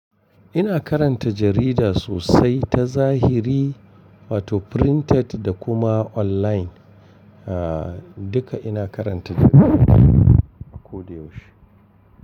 Ina karanta jarida sosai ta zahiri, photo printed da kuma online. A duka ina karanta jarida a ko da yaushe.